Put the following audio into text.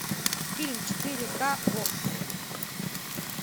фильм четыре ка окко